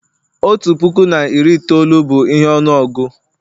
otu puku na iri itoolu bụ ihe ọnụọgụ